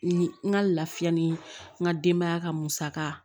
N ka lafiya ni n ka denbaya ka musaka